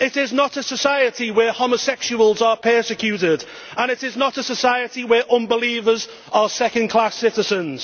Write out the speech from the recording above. it is not a society where homosexuals are persecuted, and it is not a society where unbelievers are second class citizens.